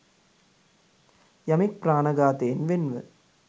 යමෙක් ප්‍රාණඝාතයෙන් වෙන්ව